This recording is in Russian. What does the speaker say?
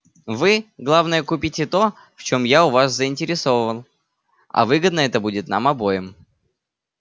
вы главное купите то в чём я у вас заинтересован а выгодно это будет нам обоим